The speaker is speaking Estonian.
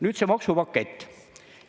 Nüüd see maksupakett.